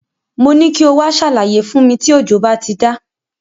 Mo ní kí o wá ṣàlàyé fún mi tí òjò bá ti dá.